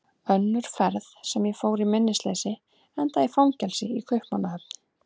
Önnur ferð sem ég fór í minnisleysi endaði í fangelsi í Kaupmannahöfn.